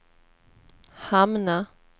hamna